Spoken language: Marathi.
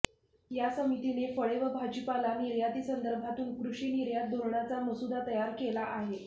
या समितीने फळे व भाजीपाला निर्यातीसंदर्भातून कृषि निर्यात धोरणाचा मसुदा तयार केला आहे